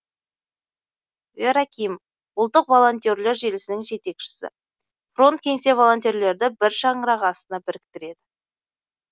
вера ким ұлттық волонтерлер желісінің жетекшісі фронт кеңсе волонтерлерді бір шаңырақ астына біріктіреді